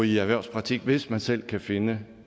i erhvervspraktik hvis man selv kan finde